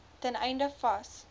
ten einde vas